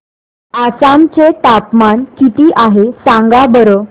आसाम चे तापमान किती आहे सांगा बरं